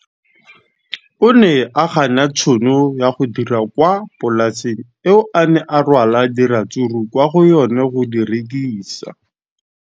O ne a gana tšhono ya go dira kwa polaseng eo a neng rwala diratsuru kwa go yona go di rekisa.